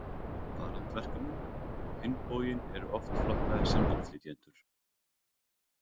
Farandverkamenn á hinn bóginn eru oft flokkaðir sem innflytjendur.